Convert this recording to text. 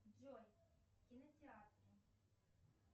джой кинотеатры